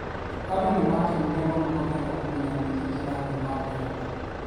Andũ nĩmamakire mũno makĩenda kũmenya nĩkĩĩ kĩrathii na mbere